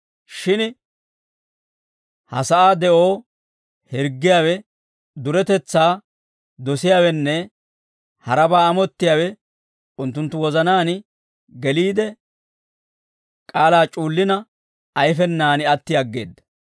Shin ha sa'aa de'oo hirggiyaawe duretetsaa dosiyaawenne harabaa amottiyaawe unttunttu wozanaan geliide, k'aalaa c'uullina ayfenaan atti aggeedda.